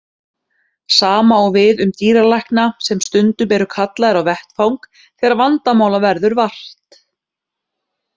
Sama á við um dýralækna sem stundum eru kallaðir á vettvang þegar vandamála verður vart.